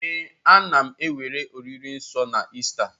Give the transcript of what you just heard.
Ee, a na m ewere oriri nsọ na Ista